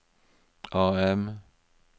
AM